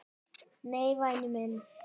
"""Nei, væni minn."""